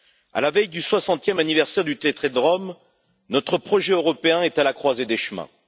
À la veille du 60e anniversaire du traité de Rome, notre projet européen est à la croisée des chemins.